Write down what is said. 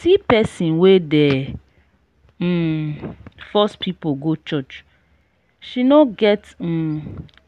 see pesin wey dey um force pipu go church she no get um